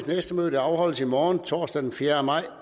næste møde afholdes i morgen torsdag den fjerde maj